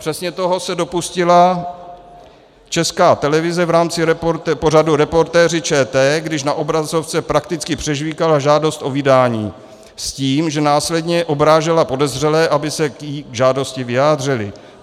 Přesně toho se dopustila Česká televize v rámci pořadu Reportéři ČT, když na obrazovce prakticky přežvýkala žádost o vydání s tím, že následně obrážela podezřelé, aby se k té žádosti vyjádřili.